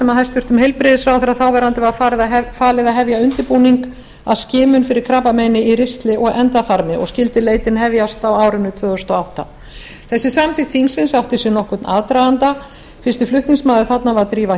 hæstvirtur þáverandi heilbrigðisráðherra var falið að hefja undirbúning að skimun fyrir krabbameini í ristli og endaþarmi og skyldi leitin hefjast á árinu tvö þúsund og átta þessi samþykkt þingsins átti sér nokkurn aðdraganda fyrsti flutningsmaður þarna var drífa